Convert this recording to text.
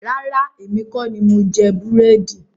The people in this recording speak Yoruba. Rárá, èmi kọ ní mo jẹ búrẹ́dì